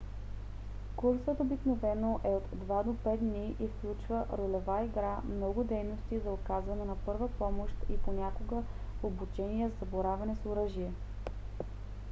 курсът обикновено е от 2 до 5 дни и включва ролева игра много дейности за оказване на първа помощ и понякога обучение за боравене с оръжие